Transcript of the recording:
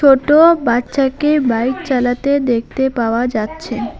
ছোটো বাচ্চাকে বাইক চালাতে দেখতে পাওয়া যাচ্ছে।